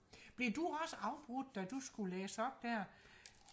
blev du også afbrudt da du skulle læse op der